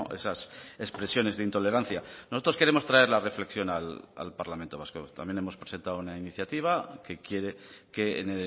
esas expresiones de intolerancia nosotros queremos traer la reflexión al parlamento vasco también hemos presentado una iniciativa que quiere que en